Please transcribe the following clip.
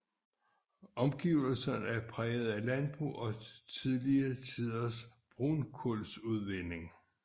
Omgivelserne er præget af landbrug og tidligere tiders brunkujlsudvinding